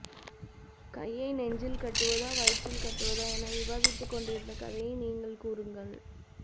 கையை நெஞ்சில் கட்டுவதா வயிற்றில் கட்டுவதா என விவாதிதுக்கொண்டிருந்த கதையை நீங்கள் கூறுங்கள்